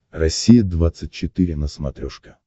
россия двадцать четыре на смотрешке